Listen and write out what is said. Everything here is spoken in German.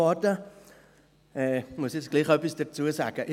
Ich muss jetzt trotzdem etwas dazu sagen: